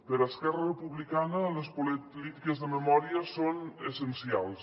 per esquerra republicana les polítiques de memòria són essencials